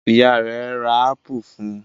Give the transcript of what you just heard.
Ìyá rẹ̀ ra ápù fún un?